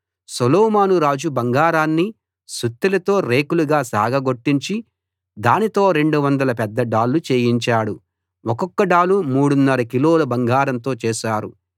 సొలొమోను రాజు బంగారాన్ని సుత్తెలతో రేకులుగా సాగగొట్టించి దానితో 200 పెద్ద డాళ్ళు చేయించాడు ఒక్కొక్క డాలు మూడున్నర కిలోల బంగారంతో చేశారు